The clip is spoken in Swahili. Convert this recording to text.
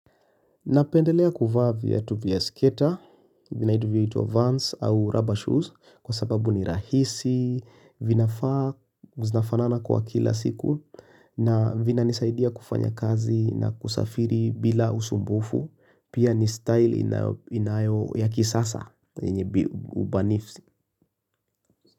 Napendelea kuvaa viatu vya skater, vyengine vinaitwa vans au rubber shoes kwa sababu ni rahisi, vinafanana kwa kila siku na vinanisaidia kufanya kazi na kusafiri bila usumbufu, pia ni style inayo ya kisasa.